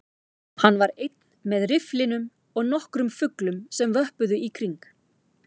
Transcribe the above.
Hann var einn með rifflinum og nokkrum fuglum sem vöppuðu í kring